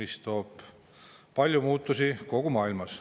See toob kaasa palju muutusi kogu maailmas.